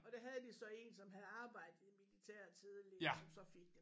Og der havde de så en som havde arbejdet i militæret tidligere som så fik det